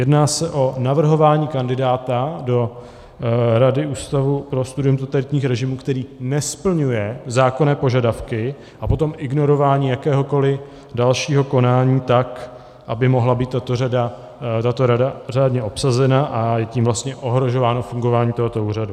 Jedná se o navrhování kandidáta do Rady Ústavu pro studium totalitních režimů, který nesplňuje zákonné požadavky, a potom ignorování jakéhokoliv dalšího konání tak, aby mohla být tato rada řádně obsazena, a je tím vlastně ohrožováno fungování tohoto úřadu.